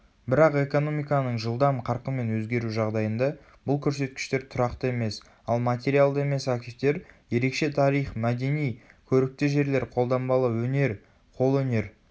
бірақ экономиканың жылдам қарқынмен өзгеру жағдайында бұл көрсеткіштер тұрақты емес ал материалды емес активтер ерекше тарих мәдени көрікті жерлер қолданбалы өнер қолөнер